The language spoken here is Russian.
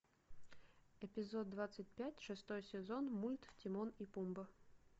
эпизод двадцать пять шестой сезон мульт тимон и пумба